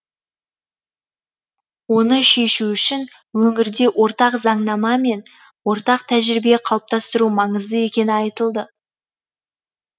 оны шешу үшін өңірде ортақ заңнама мен ортақ тәжірибе қалыптастыру маңызды екені айтылды